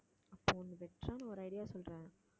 அப்போ ஒண்ணு better ஆன ஒரு idea சொல்றேன்